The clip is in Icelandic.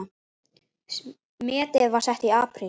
Metið var sett í apríl.